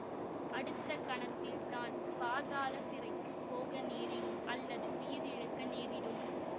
அடுத்த கணத்தில் தான் பாதாள சிறைக்கு போக நேரிடும் அல்லது உயிரிழக்க நேரிடும்